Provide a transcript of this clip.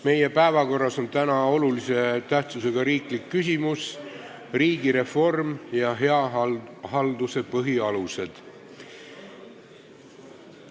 Meie päevakorras on täna olulise tähtsusega riiklik küsimus ''Riigireform ja hea halduse põhialused''.